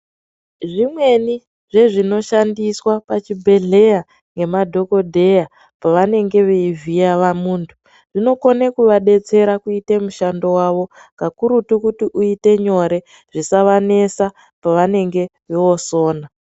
Zvimweni zvezvinoshandiswa pachibhehleya ngemadhokodheya pavanenge veivhiye muntu zvinokone kuvadetsera kuite mushando vavo kakurutu kuti uite nyore zvisavanesa pavanenge vosona.